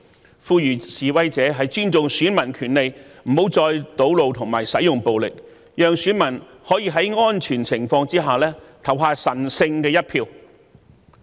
我呼籲示威者尊重選民權利，不要再堵路和使用暴力，讓選民可在安全情況下投下神聖一票。